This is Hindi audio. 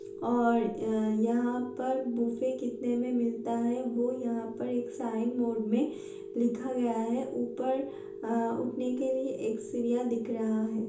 और यहाँ पर बुफे कितने में मिलता है। वो यहाँ पर एक साईड बोर्ड में लिखा गया है। ऊपर उठने के लिए एक सीरिया दिख रहा है।